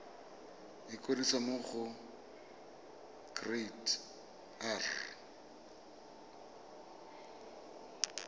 ikwadisa mo go kereite r